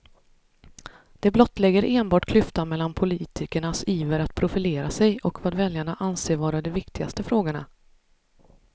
Det blottlägger enbart klyftan mellan politikernas iver att profilera sig och vad väljarna anser vara de viktigaste frågorna.